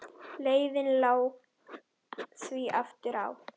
Leiðin lá því aftur á